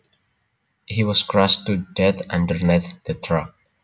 He was crushed to death underneath the truck